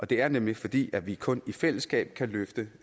det er nemlig fordi vi kun i fællesskab kan løfte